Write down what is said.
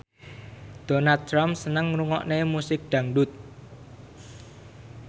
Donald Trump seneng ngrungokne musik dangdut